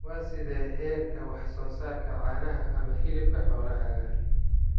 Waa sidee heerka wax soo saarka caanaha ama hilibka xoolahaaga?